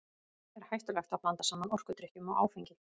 Er hættulegt að blanda saman orkudrykkjum og áfengi?